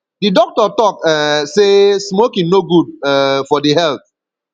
di doctor tok um sey smoking no good um for di health